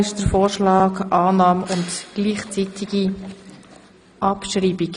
Hier wird Annahme und gleichzeitige Abschreibung beantragt.